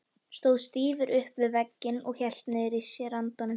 Stóð stífur upp við vegginn og hélt niðri í sér andanum.